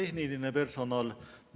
Hüva tehniline personal!